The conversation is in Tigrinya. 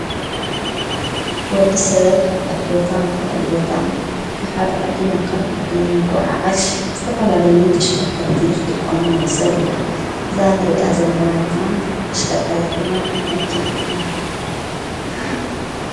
ወዲ ሰብ ካብሓድ ቦታ ናብ ካሊ ቦታ ካብ ሓድ ዓዲ ናብ ካልእ ዓዲን ንጐምጉዓዝ ዝተፈላለይ ተሽከርከርቲ ኽጥቖም ንዕዘብ ኢና እዛ ንርያ ዘለና ድማ ተሽከርካርት ድማ መኪና ትበሃለ።